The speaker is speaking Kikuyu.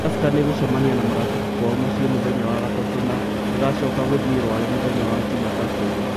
Tusker nĩ ĩgũcemania na Marafiki kwao mũciĩ mũthenya wa Gatatu na ĩgacoka gũthiĩ Rware mũthenya wa Jumatatu.